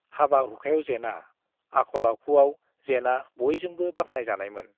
हाबा हुखायाव जेना, आखल-आखुआव जेना बयजोंबो बाख्नायजानायमोन।